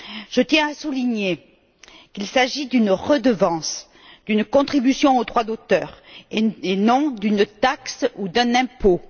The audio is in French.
Je tiens à souligner qu'il s'agit d'une redevance, d'une contribution au droit d'auteur, et non d'une taxe ou d'un impôt.